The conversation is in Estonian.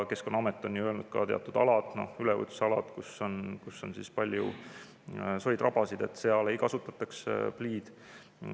Keskkonnaamet on öelnud, et teatud aladel, üleujutusaladel, kus on palju soid-rabasid, ei kasutataks pliid.